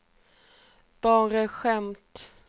bara ett skämt